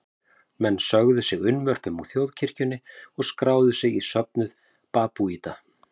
Menn sögðu sig unnvörpum úr þjóðkirkjunni og skráðu sig í söfnuð babúíta.